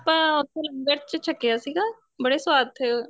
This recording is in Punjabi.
ਆਪਾਂ ਉੱਥੇ ਲੰਗਰ ਚ ਛਕਿਆ ਸੀਗਾ ਬੜੇ ਸਵਾਦ ਥੇ